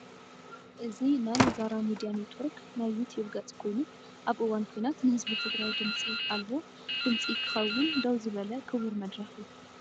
እዚ ናይ "ዛራ ሚድያ ኔትወርክ" ናይ ዩቱብ ገፅ ኮይኑ ኣብ እዋን ኩናት ንህዝቢ ትግራይ ድምፂ ኣልቦ ድምጺ ክኸውን ደው ዝበለ ክቡር መድረኽ እዩ!